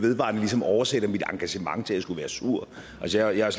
vedvarende ligesom oversætter mit engagement til at jeg skulle være sur altså jeg